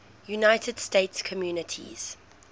united states communities